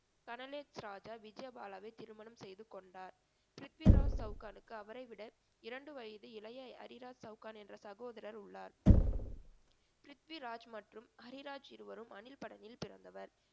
ராஜா விஜய பாலாவை திருமணம் செய்து கொண்டார். பிரித்விராஜ் சவுகானுக்கு அவரைவிட இரண்டு வயது இளைய ஹரிராஜ் சவுகான் என்ற சகோதரர் உள்ளார் பிரித்விராஜ் மற்றும் ஹரிராஜ் இருவரும் அணில்படனில் பிறந்தவர்